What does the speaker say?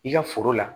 I ka foro la